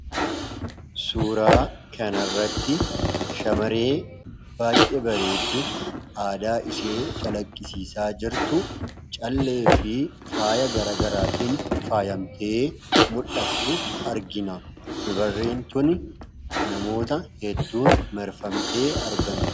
Suuraa kanarratti shamaree baay'ee bareedduu aadaa ishee calaqqisiisaa jirtu, callee fi faaya gara garaatiin faayamtee mul'attu argina. Dubarriin tuni namoota hedduun marfamtee argamti.